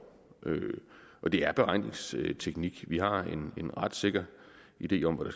det er beregningsteknik vi har en ret sikker idé om hvad